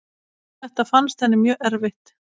Þetta fannst henni mjög erfitt.